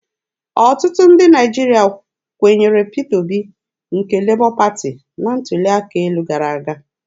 Ọtụtụ ndị Naịjirịa kwenyere Peter Obi nke Lebọ Pati na ntuli aka elu gara aga.